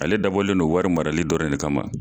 Ale dabɔlen do wari marali dɔrɔn de kama.